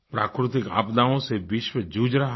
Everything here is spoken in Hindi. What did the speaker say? प्राकृतिक आपदाओं से विश्व जूझ रहा है